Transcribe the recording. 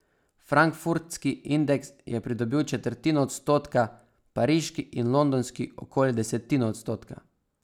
Frankfurtski indeks je pridobil četrtino odstotka, pariški in londonski okoli desetino odstotka.